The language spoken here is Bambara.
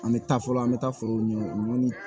An bɛ taa fɔlɔ an bɛ taa forow ɲini